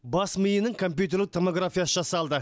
бас миының компьютерлік томографиясы жасалды